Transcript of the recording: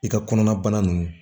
I ka kɔnɔna bana nunnu